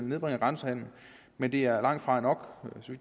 nedbringer grænsehandelen men det er langtfra nok